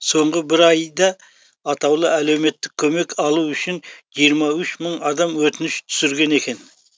соңғы бір ай да атаулы әлеуметтік көмек алу үшін жиырма үш мың адам өтініш түсірген екен